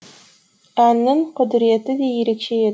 әннің құдіреті де ерекше еді